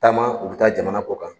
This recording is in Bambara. Taama u be taa jamana kɔ kan.